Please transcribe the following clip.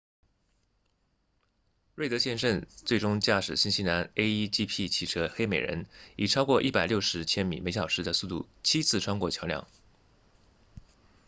瑞德先生最终驾驶新西兰 a1gp 汽车黑美人以超过160千米每小时的速度七次穿过桥梁